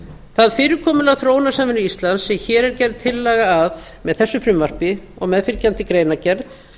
það fyrirkomulag þróunarsamvinnu íslands sem hér er gerð tillaga að með þessu frumvarpi og meðfylgjandi greinargerð